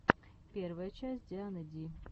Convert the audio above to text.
первая часть дианы ди